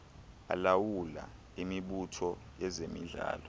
alawula imibutho yezemidlalo